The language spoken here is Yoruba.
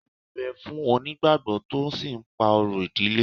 Ewú ń bẹ̀ fún onígbàgbọ́ tó sì ń pa orò ìdílé